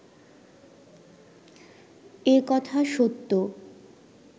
এ কথা সত্য